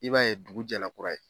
I b'a ye dugu jɛra kura ye